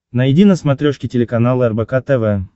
найди на смотрешке телеканал рбк тв